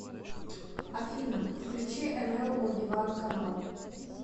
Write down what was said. афина включи эн эл о диван канал